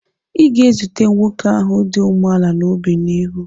Ị ga-ezute nwoke ahụ dị umeala n'obi n'ihu.